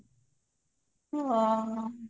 ଓଃ ହୋ